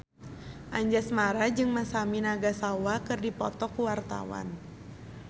Anjasmara jeung Masami Nagasawa keur dipoto ku wartawan